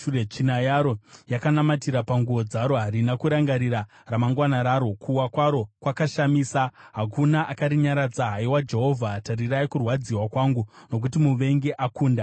Tsvina yaro yakanamatira panguo dzaro; harina kurangarira ramangwana raro. Kuwa kwaro kwakashamisa; hakuna akarinyaradza. “Haiwa Jehovha, tarirai kurwadziwa kwangu, nokuti muvengi akunda.”